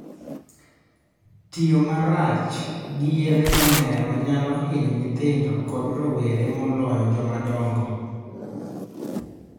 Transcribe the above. Tiyo gi marach gi yedhe mamero nyalo hinyo nyithindo kod rowere moloyo joma dongo